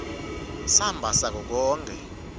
samba sako konkhe